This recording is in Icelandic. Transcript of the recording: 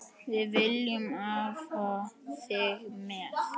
Við viljum hafa þig með.